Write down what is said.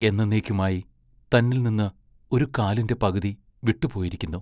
എന്നെന്നേക്കുമായി തന്നിൽ നിന്ന് ഒരു കാലിന്റെ പകുതി വിട്ടുപോയിരിക്കുന്നു.